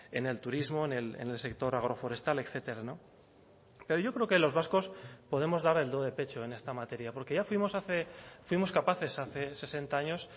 en el turismo en el sector agroforestal etcétera pero yo creo que los vascos podemos dar el do de pecho en esta materia porque ya fuimos hace fuimos capaces hace sesenta años